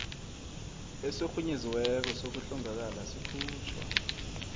esirhunyeziweko sokuhlongakala sikhutjhwa